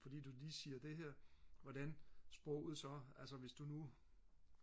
fordi du lige siger det her hvordan sproget så altså hvis du nu